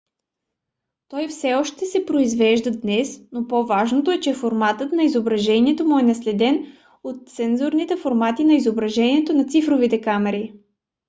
той все още се произвежда днес но по-важното е че форматът на изображението му е наследен от сензорните формати на изображението на цифровите камери